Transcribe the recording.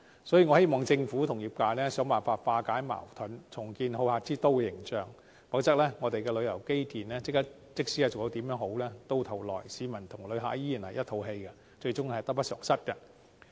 所以，我希望政府與業界想辦法化解矛盾，重建好客之都的形象；否則，即使我們的旅遊基建做得再好，到頭來市民及旅客仍然一肚子氣，最終只會得不償失。